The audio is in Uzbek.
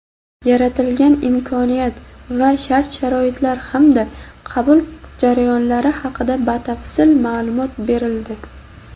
yaratilgan imkoniyat va shart-sharoitlar hamda qabul jarayonlari haqida batafsil maʼlumot berildi.